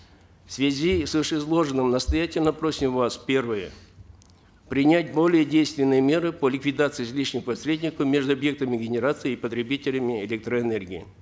в связи с вышеизложенным настоятельно просим вас первое принять более действенные меры по ликвидации излишних посредников между объектами генерации и потребителями электроэнергии